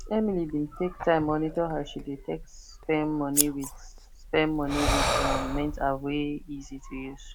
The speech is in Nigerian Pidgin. emily bin take time monitor as she take spend money with spend money with um mint app wey easy to use